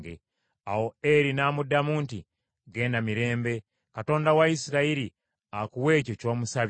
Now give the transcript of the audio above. Awo Eri n’amuddamu nti, “Genda mirembe. Katonda wa Isirayiri akuwe ekyo ky’omusabye.”